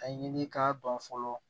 A ɲini k'a dɔn fɔlɔ